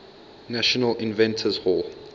national inventors hall